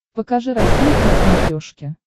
покажи россия к на смотрешке